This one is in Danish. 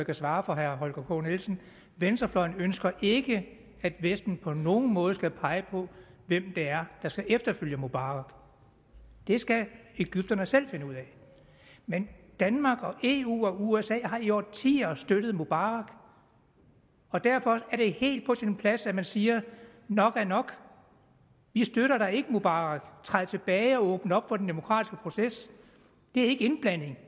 kan svare for herre holger k nielsen venstrefløjen ønsker ikke at vesten på nogen måde skal pege på hvem der skal efterfølge mubarak det skal egypterne selv finde ud af men danmark eu og usa har i årtier støttet mubarak og derfor er det helt på sin plads at man siger nok er nok vi støtter da ikke mubarak træd tilbage og åbn op for den demokratiske proces det er ikke indblanding